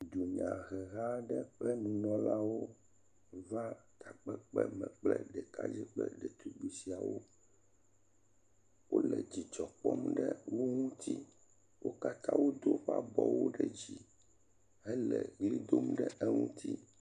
Dunyahelawo ƒe nunɔlawo va takpekpeme kple ɖekadze kple detugbi siawo. Wole dzidzɔ kpɔm ɖe wo ŋuti. Wo katã wodo woƒe abɔwo ɖe dzi hele ʋli dom ɖe eŋuti.